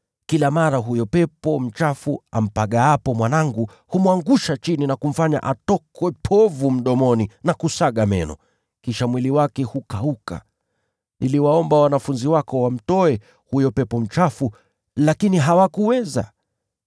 Kila mara huyo pepo mchafu ampagaapo mwanangu, humwangusha chini na kumfanya atokwe povu mdomoni na kusaga meno, kisha mwili wake hukauka. Niliwaomba wanafunzi wako wamtoe huyo pepo mchafu, lakini hawakuweza.”